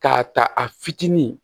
K'a ta a fitinin